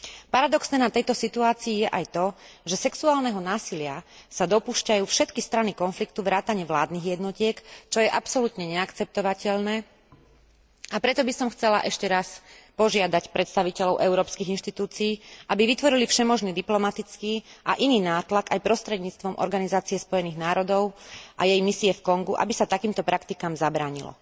Paradoxné na tejto situácii je aj to, že sexuálneho násilia sa dopúšťajú všetky strany konfliktu vrátane vládnych jednotiek, čo je absolútne neakceptovateľné, a preto by som chcela ešte raz požiadať predstaviteľov európskych inštitúcií, aby vytvorili všemožný diplomatický a iný nátlak aj prostredníctvom Organizácie spojených národov a jej misie v Kongu, aby sa takýmto praktikám zabránilo.